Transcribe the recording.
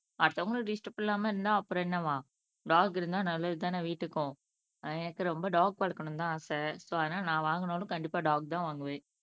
அடுத்தவங்கள டிஸ்டர்ப் இல்லாம இருந்தா அப்பறம் என்னவாம் டாக் இருந்தா நல்லதுதான வீட்டுக்கும் அஹ் எனக்கு ரொம்ப டாக் வளக்கணும்னு தான் ஆசை சோ அதுனால நான் வாங்கணும்னா கண்டிப்பா டாக் தான் வாங்குவேன்